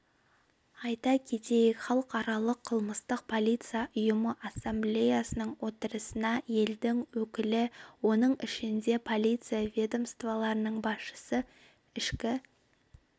айта кетейік халықаралық қылмыстық полиция ұйымы ассамблеясының отырысына елдің өкілі оның ішінде полиция ведомстволарының басшысы ішкі